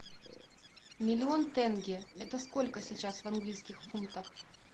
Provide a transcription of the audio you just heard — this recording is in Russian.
миллион тенге это сколько сейчас в английских фунтах